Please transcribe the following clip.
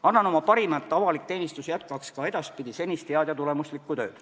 Annan oma parima, et avalik teenistus jätkaks ka edaspidi senist head ja tulemuslikku tööd.